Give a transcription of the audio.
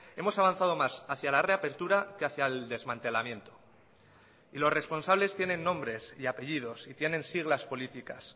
hemos avanzado más hacia la reapertura que hacia el desmantelamiento y los responsables tienen nombres y apellidos y tienen siglas políticas